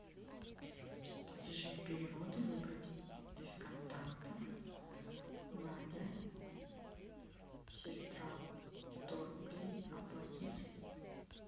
платежи и переводы выбрать из контактов надя сестра сто рублей оплатить